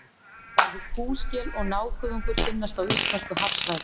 Bæði kúskel og nákuðungur finnast á íslensku hafsvæði.